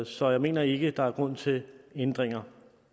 så jeg mener ikke der er grund til ændringer